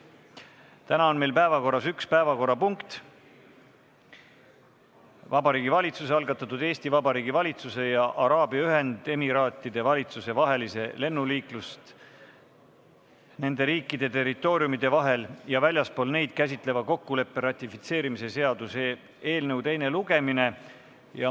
Täna on meil päevakorras üks päevakorrapunkt: Vabariigi Valitsuse algatatud Eesti Vabariigi valitsuse ja Araabia Ühendemiraatide valitsuse vahelise lennuliiklust nende riikide territooriumide vahel ja väljaspool neid käsitleva kokkuleppe ratifitseerimise seaduse eelnõu teine lugemine.